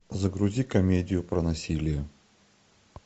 загрузи комедию про насилие